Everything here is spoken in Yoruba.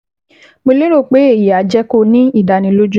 Mo lérò pé èyí á jẹ́ kó o ní ìdánilójú